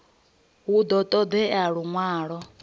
hu ḓo ṱo ḓea luṅwalo